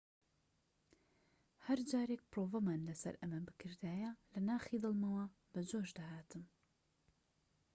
هەرجارێك پرۆڤەمان لەسەر ئەمە بکردایە لە ناخی دڵمەوە بەجۆش دەهاتم